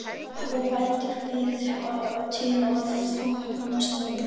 Og bætir við til að þóknast honum.